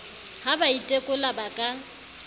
ha ba itekola ba ka